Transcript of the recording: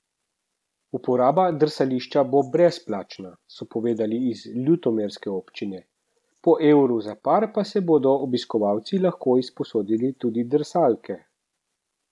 Uporaba drsališča bo brezplačna, so povedali iz ljutomerske občine, po evru za par pa so bodo obiskovalci lahko izposodili tudi drsalke.